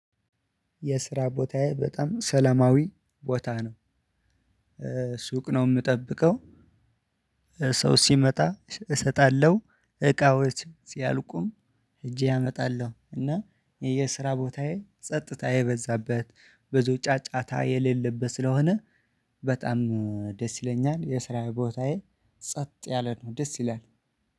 የስራ ቦታዬ በጣም ሰላማዊ ቦታ ነው። ሱቅ ነው የምጠብቀው ሰው ሲመጣ እሰጣለሁ። እቃዎች ሲያልቁም ሄጄ አመጣለሁ። እና የስራ ቦታዬ ጸጥታ የበዛበት፣ ብዙ ጫጫታ የሌለበት ስለሆነ በጣም ደስ ይለኛል። የስራ ቦታዬ ጸጥ ያለ ነው። ደስ ይላል።